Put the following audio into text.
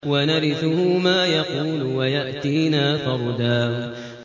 وَنَرِثُهُ مَا يَقُولُ وَيَأْتِينَا فَرْدًا